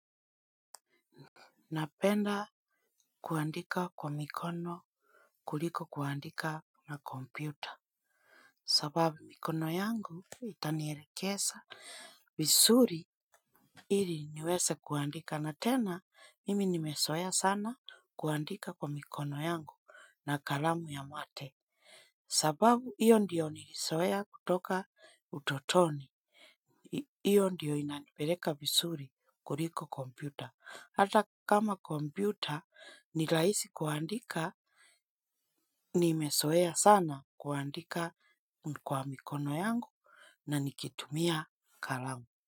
Napenda kuandika kwa mikono kuliko kuandika na kompyuta. Sababu mikono yangu itanielekesa visuri ili niweze kuandika. Na tena mimi nimesoeya sana kuandika kwa mikono yangu na kalamu ya mate. Sababu hiyo ndiyo nilisoea kutoka utotoni. Hiyo ndiyo inanipeleka visuri kuliko kompyuta. Hata kama komputer ni rahisi kuandika nimesoea sana kuandika kwa mikono yangu na nikitumia kalamu.